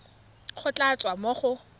go tla tswa mo go